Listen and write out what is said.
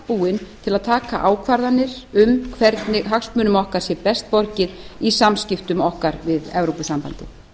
búin til að taka ákvarðanir um hvernig hagsmunum okkar sé best borgið í samskiptum okkar við evrópusambandið